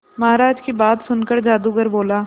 महाराज की बात सुनकर जादूगर बोला